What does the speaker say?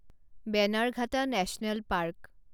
Bannerghatta national park